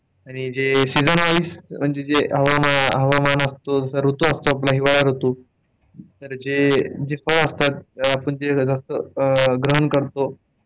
आणि जे seasonwise म्हणजे जे हवामान असतो. ऋतू असतो आपला हिवाळा ऋतू, तर जे आपण जे फळ असतात आपण जे जास्त ग्रहण करतो.